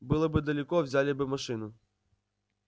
было бы далеко взяли бы машину